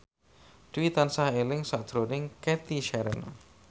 Dwi tansah eling sakjroning Cathy Sharon